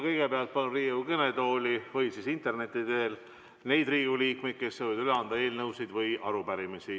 Kõigepealt palun neid Riigikogu liikmeid, kes soovivad üle anda eelnõusid või arupärimisi, tulla Riigikogu kõnetooli või ühenduda interneti teel.